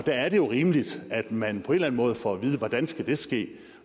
er jo rimeligt at man på en eller anden måde får at vide hvordan det skal ske